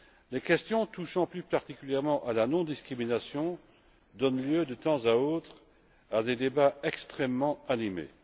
Les questions touchant plus particulièrement à la non discrimination donnent lieu, de temps à autre, à des débats extrêmement animés.